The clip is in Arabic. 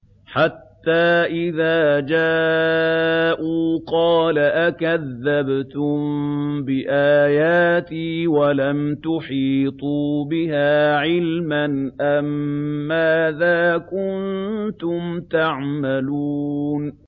حَتَّىٰ إِذَا جَاءُوا قَالَ أَكَذَّبْتُم بِآيَاتِي وَلَمْ تُحِيطُوا بِهَا عِلْمًا أَمَّاذَا كُنتُمْ تَعْمَلُونَ